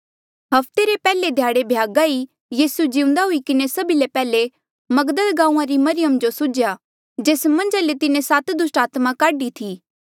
हफ्ते रे पैहले ध्याड़े भ्यागा ई यीसू जिउंदा हुई किन्हें सभी ले पैहले मगदल गांऊँआं री मरियम जो सुझ्या जेस्सा मन्झा ले जे तिन्हें सात दुस्टात्मा काढी थी